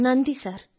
നന്ദി സർ